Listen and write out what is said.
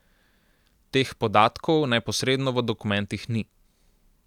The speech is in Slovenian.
Teh podatkov neposredno v dokumentih ni.